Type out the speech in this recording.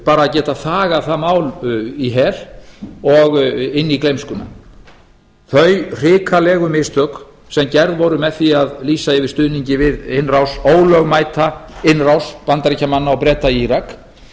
bara geta þagað það mál í hel og inn í gleymskuna þau hrikalegu mistök sem gerð voru með því að lýsa yfir stuðningi við innrás ólögmæta innrás bandaríkjamanna og breta í